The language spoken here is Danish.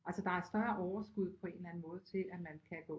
Altså der er større overskud på en eller anden måde til at man kan gå